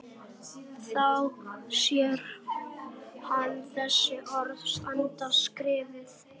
Þá sér hann þessi orð standa skrifuð: